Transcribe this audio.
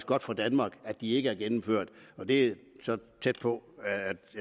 godt for danmark at de ikke er gennemført og det er så tæt på